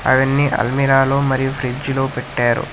అవన్నీ అల్మీరాలో మరియు ఫ్రిడ్జ్ లో పెట్టారు.